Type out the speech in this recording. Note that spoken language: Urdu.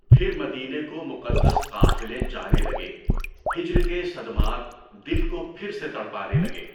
پھر مدینے کو مقدس قافلے جانے لگے، ہجر کے صدمات دل کو پھر سے تڑپانے لگے۔